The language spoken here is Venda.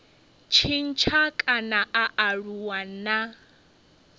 tshintsha kana a aluwa na